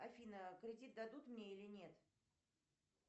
афина кредит дадут мне или нет